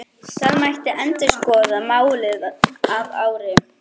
Það mætti endurskoða málið að ári.